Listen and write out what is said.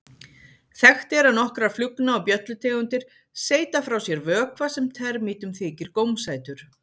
Þekkt er að nokkrar flugna- og bjöllutegundir seyta frá sér vökva sem termítum þykir gómsætur.